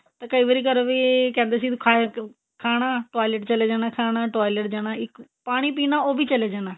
ਤੇ ਕਈ ਵਾਰੀ ਘਰ ਵੀ ਕਹਿੰਦੇ ਸੀ ਤੂੰ ਖਾਇਆ ਕਿਉਂ ਖਾਣਾ toilet ਚਲੇ ਜਾਣਾ ਖਾਣਾ toilet ਚਲੇ ਜਾਣਾ ਇੱਕ ਪਾਣੀ ਪੀਣਾ ਉਹ ਵੀ ਚਲੇ ਜਾਣਾ